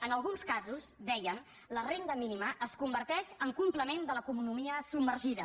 en alguns casos deien la renda mínima es converteix en complement de l’economia submergida